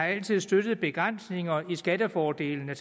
støttet begrænsninger i skattefordelene